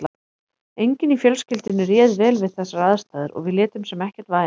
Enginn í fjölskyldunni réð vel við þessar aðstæður og við létum sem ekkert væri.